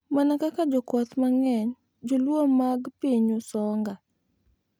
Mana kaka jokwath mang’eny, Jo-Luo mag piny Usonga,